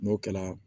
N'o kɛla